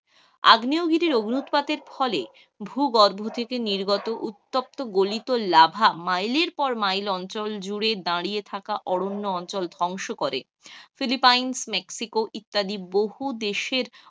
আগ্নেয় গিরির অগ্ন্যুতপাতের ফলে ভু গর্ভ থেকে উত্তপ্ত গলিত লাভা মাইলের পর মাইল অঞ্চল জুড়ে দাঁড়িয়ে কাহতা অঞ্চল